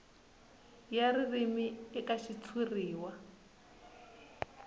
ya ririmi eka xitshuriwa ya